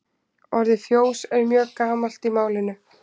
Orðið fjós er mjög gamalt í málinu.